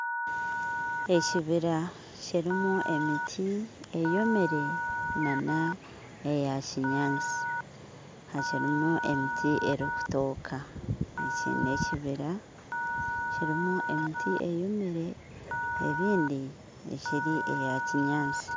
Ekibiira kirimu emiti eyomire n'eyakinyaatsi hakirimu emiti erikutooka eki n'ekibiira kirimu emiti eyomire eyindi ekiri eyakinyaatsi